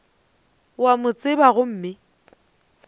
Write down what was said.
o a mo tseba gomme